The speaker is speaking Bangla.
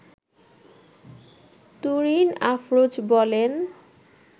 তুরিন আফরোজ বলেন